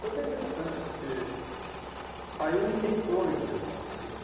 Foi bem interessante, porque aí ninguém entrou na empresa nesse dia né.